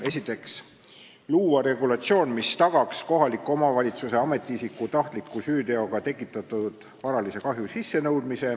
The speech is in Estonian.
Esiteks tuleks luua regulatsioon, mis tagaks kohaliku omavalitsuse ametiisiku tahtliku süüteoga tekitatud varalise kahju sissenõudmise.